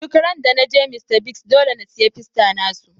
Duk ran da na je Mr.Biggs, dolle n'siya fiesta na su.